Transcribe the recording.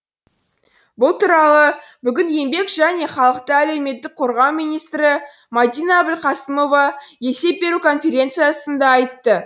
бұл туралы бүгін еңбек және халықты әлеуметтік қорғау министрі мадина әбілқасымова есеп беру конференциясында айтты